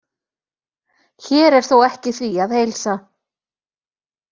Hér er þó ekki því að heilsa.